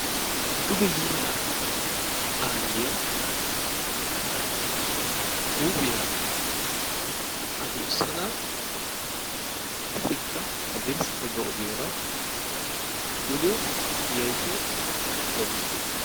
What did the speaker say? Duge yiyya aayyiyaa huuphiyaa addussada qassikka hadirssa baggaa ogiyaara duge yaayyida daawus.